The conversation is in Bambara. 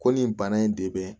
Ko nin bana in de bɛ